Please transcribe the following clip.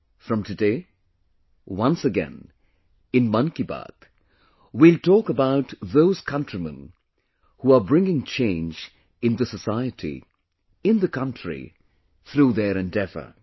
From today, once again, in ‘Mann Ki Baat’, we will talk about those countrymen who are bringing change in the society; in the country, through their endeavour